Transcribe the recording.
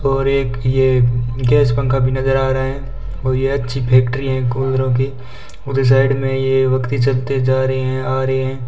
और एक ये गैस पंखा भी नजर आ रहा हैं और ये अच्छी फैक्ट्री है कूलरों की उधर साइड में ये वक्ति चलते जा रहे हैं आ रहे हैं।